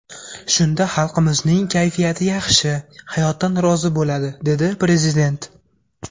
Shunda xalqimizning kayfiyati yaxshi, hayotdan rozi bo‘ladi”, dedi Prezident.